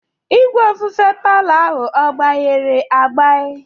Igwe ofufe palo ahụ ọ gbairi agbai?